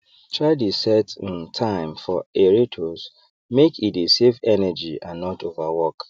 try dey set um time for aerators make e dey save energy and not overwork